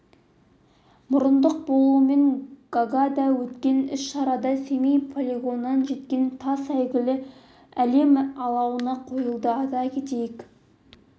мұрындық болуымен гаагада өткен іс-шарада семей полигонынан жеткен тас әйгілі әлем алауына қойылды айта кетейік